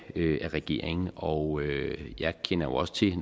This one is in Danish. regeringen og jeg kender jo også til